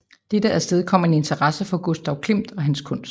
Dette afstedkom en interesse for Gustav Klimt og hans kunst